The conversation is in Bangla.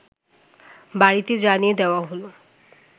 বাড়িতে জানিয়ে দেওয়া হল